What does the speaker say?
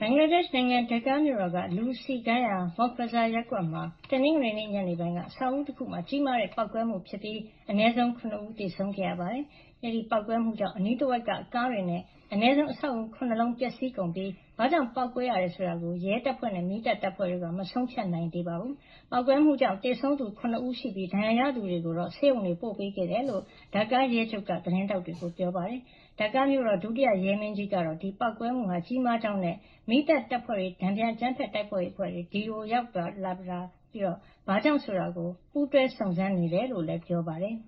ဘင်္ဂလားဒေ့ရှ်နိုင်ငံ ဒါကာမြို့တော်က လူစည်ကားရာ Moghbazar ရပ်ကွက်မှာ တနင်္ဂနွေနေ့ ညနေပိုင်းက အဆောက်အဦးတခုမှာ ကြီးမားတဲ့ ပေါက်ကွဲမှုဖြစ်ခဲ့ပြီး အနည်းဆုံး လူ ၇ ဦးသေဆုံးခဲ့ပါတယ်။ အဲဒီလိုပေါက်ကွဲမှုကြောင့်အနီးတဝှိက်က ကားတွေနဲ့ အနည်းဆုံး အဆောက်အအုံ ၇ လုံးပျက်စီးကုန်ပြီး ဘာကြောင့် ပေါက်ကွဲမှုဖြစ်ရတယ်ဆိုတာ ရဲတပ်ဖွဲ့နဲ့ မီးသတ်တပ်ဖွဲ့တို့က မဆုံးဖြတ်နိုင်သေးဘူးလို့ မီးသတ်တပ်ဖွဲ့က ပြောပါတယ်။ ပေါက်ကွဲမှုကြောင့် သေဆုံးသူ ၇ ဦးရှိပြီးဒဏ်ရာရသူတွေကိုတော့ ဆေးရုံတွေကို ပို့ပေးခဲ့တယ်လို့ ဒါကာရဲချုပ် Shafiqul Islam ကသတင်းထောင်တွေကို ပြောပါတယ်။ ဒါကာမြို့တော် ဒုတိယ ရဲမင်းကြီး Sajjad Hossain ကတော့ ဒီပေါက်ကွဲမှုဟာ ကြီးမားကြောင်းနဲ့ မီးသတ်တပ်ဖွဲ့တွေ၊ တန်ပြန်အကြမ်းဖက်မှုတိုက်ဖျက်ရေးတပ်ဖွ့ဲတွေ အဲဒီနေရာကို ရောက်ရှိပြီး ဘာကြောင့်ဆိုတာ ပူးတွဲစုံးစမ်းနေကြကြောင်း ပြောပါတယ်။